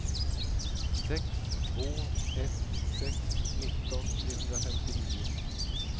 sex två ett sex nitton trehundrafemtionio